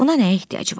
Buna nə ehtiyac?